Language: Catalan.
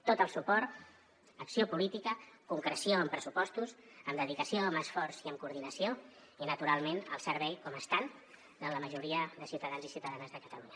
tot el suport acció política concreció amb pressupostos amb dedicació amb esforç i amb coordinació i naturalment al servei com estan de la majoria de ciutadans i ciutadanes de catalunya